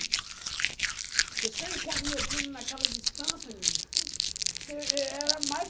Porque se eu encontro meu primo naquela distância, êh, era mais